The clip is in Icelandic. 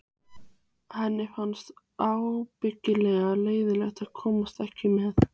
Henni fannst ábyggilega leiðinlegt að komast ekki með.